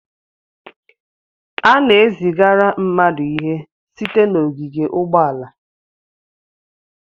A na-ezigara mmadụ ihe site n'ogige ụgbọala.